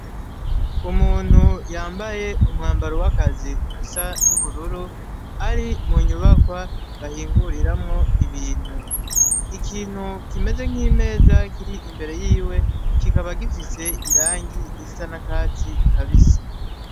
Umuntu yambaye umwambaro w'akazi usa n'ubururu ari mu nyubakwa bahinguriramwo ibintu ikintu kimeze nk'imeza kiri imbere yiwe kikaba gifise irangi risa na katsi kabise.